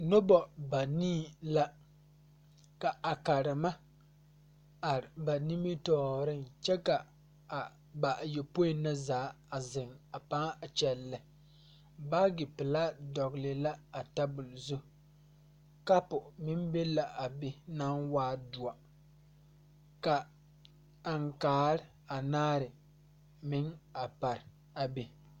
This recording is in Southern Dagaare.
Nobɔ banii la ka a karema a ate ba nimotooreŋ kyɛ ka a bayɔpoi na a zeŋ a pãã a kyɛllɛ baagi pelaa dɔgle la a tabol zu kapu meŋ be la a be naŋ waa doɔ ka aŋkaare anaare meŋ a pare a be.